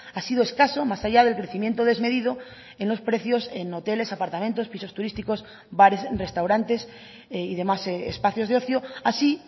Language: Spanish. ha sido escaso más allá del crecimiento desmedido en los precios en hoteles apartamentos pisos turísticos bares restaurantes y demás espacios de ocio así